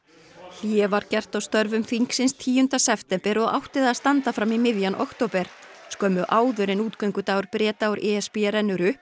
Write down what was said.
hlé var gert á störfum þingsins tíunda september og átti það að standa fram í miðjan október skömmu áður en Breta úr e s b rennur upp